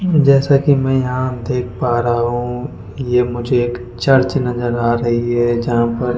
जैसा कि मैं यहां देख पा रहा हू यह मुझे एक चर्च नजर आ रही है जहां पर --